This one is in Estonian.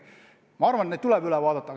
Ma arvan, et see kord tuleb uuesti läbi arutada.